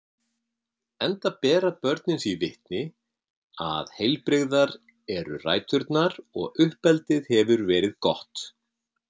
enda bera börnin því vitni að heilbrigðar eru ræturnar og uppeldið hefur verið gott.